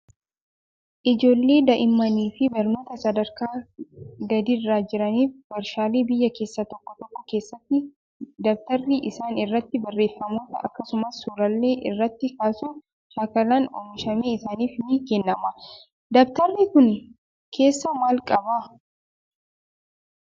Ijoollee daa'immanii fi barnootaan sadarkaa gadiirra jiraniif warshaalee biyya keessaa tokko tokko keessatti dabtarri isaan irratti barreeffamoota akkasumas suuraalee irratti kaasuu shaakalan oomishamee isaaniif ni kennama. Dabatarri kun keessaa maal qabaa?